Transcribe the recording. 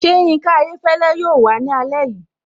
Ṣé Yinka Ayéfẹ́lẹ́ yóò wàá ní alẹ́ yìí?